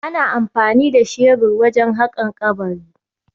Ana amfani da shebur wajen haƙan kabari